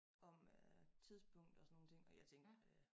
Om øh tidspunkt og sådan nogen ting og jeg tænkte øh